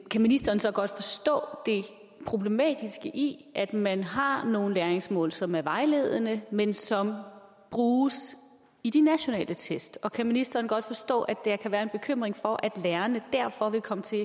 kan ministeren så godt forstå det problematiske i at man har nogle læringsmål som er vejledende men som bruges i de nationale test og kan ministeren godt forstå at der kan være en bekymring for at lærerne derfor vil komme til